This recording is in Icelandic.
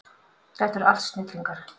Þetta eru allt snillingar.